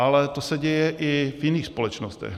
Ale to se děje i v jiných společnostech.